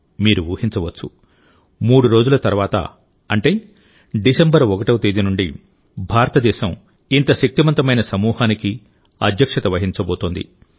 మీరు ఊహించవచ్చు 3 రోజుల తర్వాత అంటే డిసెంబర్ 1వ తేదీ నుండి భారతదేశం ఇంత పెద్ద సమూహానికి ఇంత శక్తిమంత మైన సమూహానికిఅధ్యక్షత వహించబోతోంది